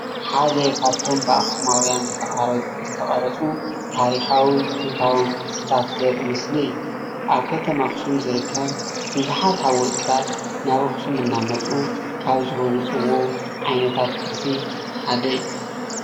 ሓደ ኻፍቶም ብኣኽስማውያን ዝተቀረፁ ታሪኻውን ጥንታውን ቅርስታት ዘርኢ ምስሊ እዩ። ኣብ ከተማ ኣኽሱም ዝርከብ ቡዙሓት ሃወፅትታት ናብ ኣኽሱም እናመፁ ካብ ዝህውፅዎ ዓይነታት ቅርሲ እዩ።